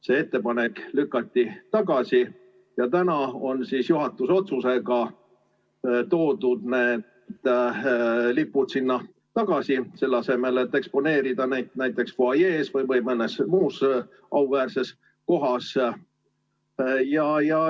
See ettepanek lükati nüüd tagasi ja täna on siis juhatuse otsusega toodud need lipud sinna tagasi, selle asemel et eksponeerida neid näiteks fuajees või mõnes muus auväärses kohas.